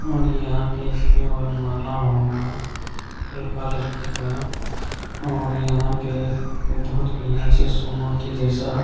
और यहाँ पे इसके बन माला होगा लड़का-लड़की का और यहाँ पे बहुत बढ़िया से सोना के जैसा --